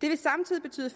det vil samtidig betyde